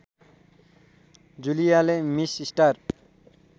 जुलियाले miss star